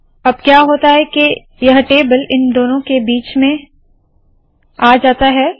अब क्या होता है के यह टेबल इन दोनों के बीच में आ जाता है